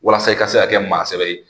Walasa i ka se ka kɛ maa sɛbɛ ye.